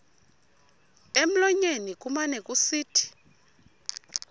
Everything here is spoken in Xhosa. emlonyeni kumane kusithi